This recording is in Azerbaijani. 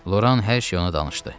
Loran hər şeyi ona danışdı.